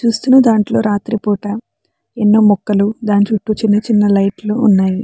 చూస్తున్న దాంట్లో రాత్రిపూట ఎన్నో మొక్కలు దాని చుట్టూచుట్టూ చిన్న చిన్న లైట్లు ఉన్నాయి.